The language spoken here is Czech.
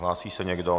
Hlásí se někdo?